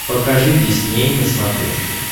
покажи дисней на смотрешке